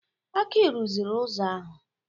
Aki rụziri ụzọ ahụ.